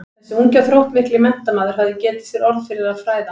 Þessi ungi og þróttmikli menntamaður hafði getið sér orð fyrir að fræða